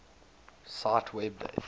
cite web date